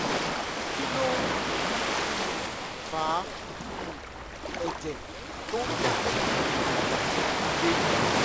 kí ló ń um fa um ẹ̀jẹ̀ tó ń dà ní èrìgì àwọn ọmọdé?